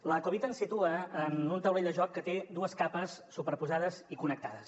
la covid ens situa en un taulell de joc que té dues capes superposades i connectades